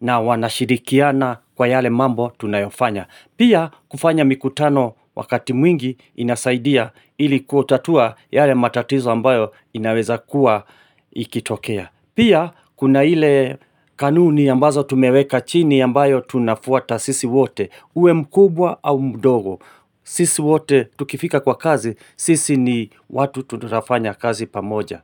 na wanashirikiana kwa yale mambo tunayofanya. Pia kufanya mikutano wakati mwingi inasaidia ili kutatua yale matatizo ambayo inaweza kuwa ikitokea Pia kuna ile kanuni ambazo tumeweka chini ambayo tunafuata sisi wote uwe mkubwa au mdogo sisi wote tukifika kwa kazi sisi ni watu tu tunafanya kazi pamoja.